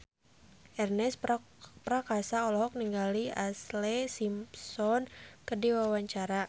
Ernest Prakasa olohok ningali Ashlee Simpson keur diwawancara